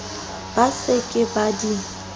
ba se ke ba di